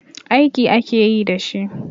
Aiki ake yi da shi.